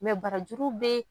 barajuru bɛ.